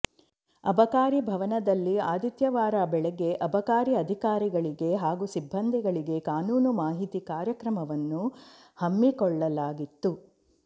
ಅಬಕಾರಿ ಭವನದಲ್ಲಿ ಆದಿತ್ಯವಾರ ಬೆಳಗ್ಗೆ ಅಬಕಾರಿ ಅಧಿಕಾರಿಗಳಿಗೆ ಹಾಗೂ ಸಿಬ್ಬಂದಿಗಳಿಗೆ ಕಾನೂನು ಮಾಹಿತಿ ಕಾರ್ಯಕ್ರಮವನ್ನು ಹಮ್ಮಿಕೊಳ್ಳಲಾಗಿತ್ತು